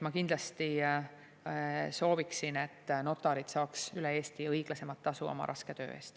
Ma kindlasti sooviksin, et notarid saaks üle Eesti õiglasemat tasu oma raske töö eest.